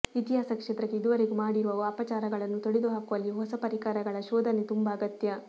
ಇತಿಹಾಸ ಕ್ಷೇತ್ರಕ್ಕೆ ಇದುವರೆಗೂ ಮಾಡಿರುವ ಅಪಚಾರಗಳನ್ನು ತೊಳೆದು ಹಾಕುವಲ್ಲಿ ಹೊಸ ಪರಿಕರಗಳ ಶೋಧನೆ ತುಂಬ ಅಗತ್ಯ